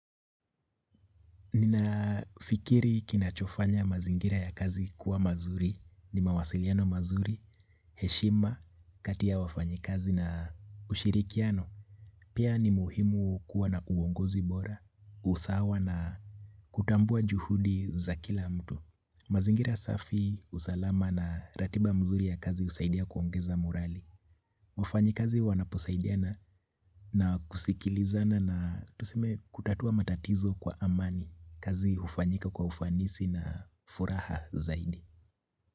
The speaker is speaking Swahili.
Nina fikiri kinachofanya mazingira ya kazi kuwa mazuri. Ni mawasiliano mazuri, heshima, kati ya wafanyakazi na ushirikiano. Pia ni muhimu kuwa na uongozi bora, usawa na kutambua juhudi za kila mtu. Mazingira safi, usalama na ratiba nzuri ya kazi husaidia kuongeza morali. Wafanyikazi wanaposaidiana na kusikilizana na tuseme kutatua matatizo kwa amani kazi hufanyika kwa ufanisi na furaha zaidi.